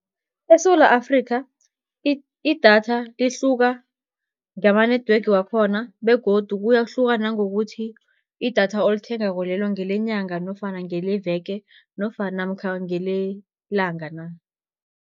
ESewula Afrikha, idatha lihluka ngama-network wakhona begodu kuyahluka nangokuthi, idatha olithengako lelo ngelenyanga nofana ngeleveke namkha ngelelanga na.